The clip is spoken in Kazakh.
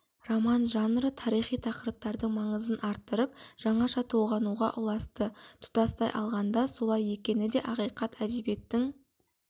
роман жанры тарихи тақырыптардың маңызын артырып жаңаша толғануға ұласты тұтастай алғанда солай екені де ақиқат әдебиеттің